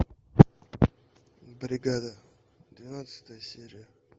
бригада двенадцатая серия